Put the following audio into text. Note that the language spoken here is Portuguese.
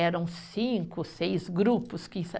Eram cinco, seis grupos que